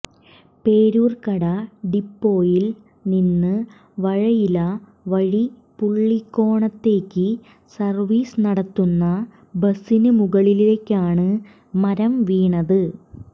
പേരൂർക്കട ഡിപ്പോയിൽ നിന്ന് വഴയില വഴി പുള്ളിക്കോണത്തേക്ക് സർവീസ് നടത്തുന്ന ബസിന് മുകളിലേക്കാണ് മരം വീണത്